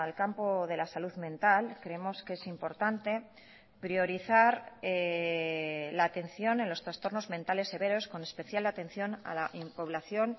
campo de la salud mental creemos que es importante priorizar la atención en los trastornos mentales severos con especial atención a la población